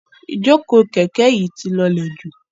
Ijoko kẹ̀kẹ́ yi ti lọlẹ ju